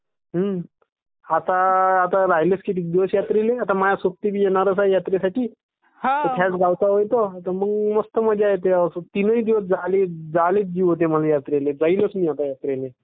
is not clear मी जाईलटं आता यात्रेल्ये...